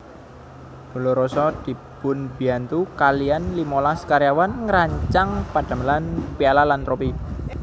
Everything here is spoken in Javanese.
Dolorosa dipunbiyantu kaliyan limolas karyawan ngrancang pedamelan piala lan tropi